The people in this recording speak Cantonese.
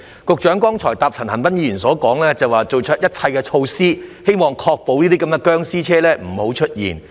局長剛才回答陳恒鑌議員說，已採取一切措施確保這些"殭屍車"不出現。